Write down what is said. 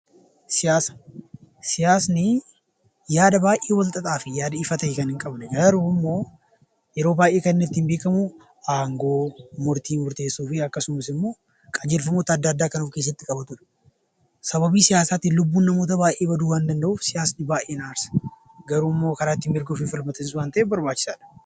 Siyaasni yaada baay'ee wal xaxaa fi yaada ifa ta'e kan hin qabne garuu immoo yeroo baay'ee kan inni ittiin beekamu aangoo, murtii murteessuu fi akkasumas immoo qajeelfamoota adda addaa kan of keessatti qabatudha. Sababii siyaasaatiin lubbuu namoota baay'ee baduu waan danda'uuf siyaasni baay'ee na aarsa garuu immoo karaa ittiin mirga ofii ittiin falmatan waan ta'eef barbaachisaadha.